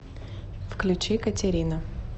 включи катерина